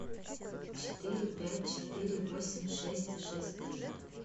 четыре пять четыре восемь шесть шесть три